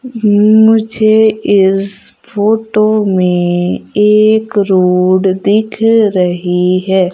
मुझे इस फोटो मे एक रोड दिख रही है।